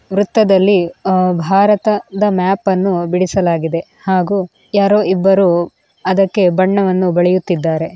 ವೃತ್ತದಲ್ಲಿ ಅಹ್ ಭಾರತದ ಮ್ಯಾಪನ್ನು ಬಿಡಿಸಲಾಗಿದೆ ಹಾಗೂ ಯಾರೊ ಇಬ್ಬರೂ ಅದಕ್ಕೆ ಬಣ್ಣವನ್ನು ಬಳಿಯುತ್ತಿದ್ದಾರೆ.